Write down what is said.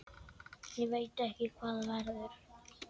Ég veit ekki hvað verður.